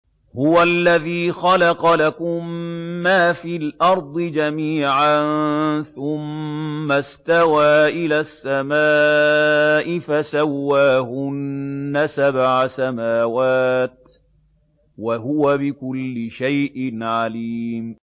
هُوَ الَّذِي خَلَقَ لَكُم مَّا فِي الْأَرْضِ جَمِيعًا ثُمَّ اسْتَوَىٰ إِلَى السَّمَاءِ فَسَوَّاهُنَّ سَبْعَ سَمَاوَاتٍ ۚ وَهُوَ بِكُلِّ شَيْءٍ عَلِيمٌ